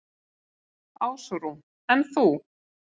Ásrún: En þú?